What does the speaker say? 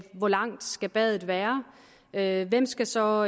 hvor langt skal badet være være hvem skal så